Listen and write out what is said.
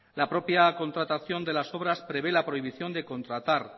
la propia contratación de las obras prevé la prohibición de contratar